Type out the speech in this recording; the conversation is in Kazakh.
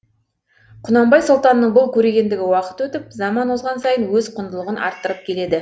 құнанбай сұлтанның бұл көрегендігі уақыт өтіп заман озған сайын өз құндылығын арттырып келеді